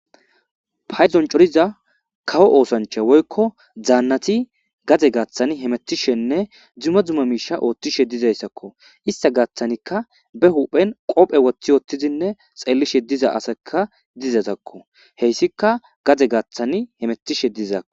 payzon coriza kawo oosancha woykko dzaannati gaze gaaththani hemetishenne dzuma dzuma miisha oothtishe dizayssakko ista gaaththanikka be huphen qophe woththi oothtizinne xeellishe diza asekka dizazakko heyssika gadze gaaththani hemettishe dizaakko